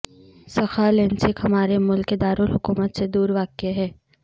سخالنسک ہمارے ملک کے دارالحکومت سے دور واقع ہے